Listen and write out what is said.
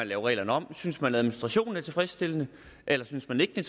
lave reglerne om synes man at administrationen er tilfredsstillende eller synes man ikke at